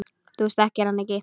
Þú þekkir hann ekki.